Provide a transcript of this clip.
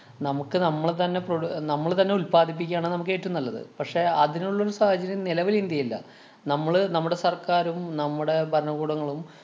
നമുക്ക് നമ്മള് തന്നെ produ~ നമ്മള് തന്നെ ഉല്‍പാദിപ്പിക്കുകയാണ് നമുക്ക് ഏറ്റോം നല്ലത്. പക്ഷേ, അതിനുള്ളൊരു സാഹചര്യം നിലവില്‍ ഇന്ത്യേല്ല. നമ്മള് നമ്മുടെ സര്‍ക്കാരും, നമ്മുടെ ഭരണകൂടങ്ങളും